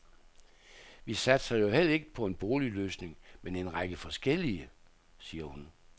Vi satser jo heller ikke på en boligløsning, men en række forskellige, siger hun.